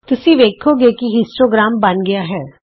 ਤੁਸੀਂ ਵੇਖੋਗੇ ਕਿ ਇਥੇ ਹਿਸਟੋਗ੍ਰਾਮ ਬਣ ਗਿਆ ਹੈ